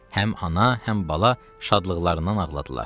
Həm ana, həm bala şadlıqlarından ağladılar.